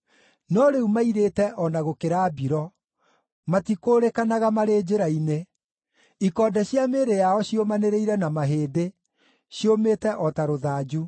No rĩu mairĩte o na gũkĩra mbiro; matikũũrĩkanaga marĩ njĩra-inĩ. Ikonde cia mĩĩrĩ yao ciũmanĩrĩire na mahĩndĩ; ciumĩte o ta rũthanju.